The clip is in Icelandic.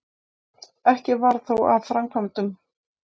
Ekki varð þó af framkvæmdum.